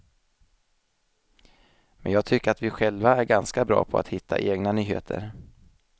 Men jag tycker att vi själva är ganska bra på att hitta egna nyheter.